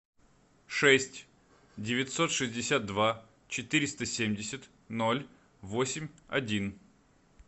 шесть девятьсот шестьдесят два четыреста семьдесят ноль восемь один